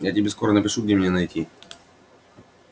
я тебе скоро напишу где меня найти